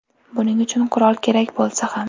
Buning uchun qurol kerak bo‘lsa ham.